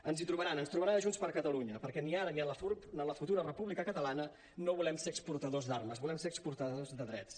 ens hi trobaran ens trobaran a junts per catalunya perquè ni ara ni en la futura república catalana no volem ser exportadors d’armes volem ser exportadors de drets